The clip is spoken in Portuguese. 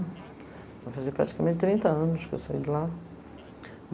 Vai fazer praticamente trinta anos que eu saí de lá.